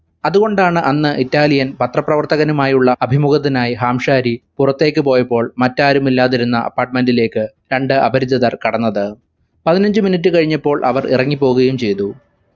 അതുകൊണ്ടാണ് അന്ന് italian പത്രപ്രവർത്തകനുമായുള്ള അഭിമുഖത്തിനായി ഹാംശാരി പുറത്തേക്ക് പോയപ്പോൾ മറ്റാരും ഇല്ലാതിരുന്ന apartment ലേക്‌ രണ്ട് അപരിചിതർ കടന്നത്. പതിനഞ്ചു minute കഴിഞ്ഞപ്പോൾ അവർ ഇറങ്ങിപ്പോവുകയും ചെയ്തു